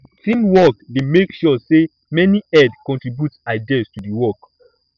teamwork dey make sure say many head contribute ideas do the work